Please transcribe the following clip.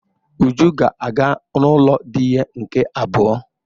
Uju ga-aga n'ulo di ya nke abuo.